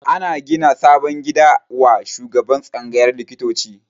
Ana gina sabon gida wa shugaban tsangayar likitoci